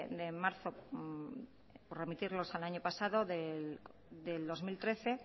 de marzo por remitirnos al año pasado del dos mil trece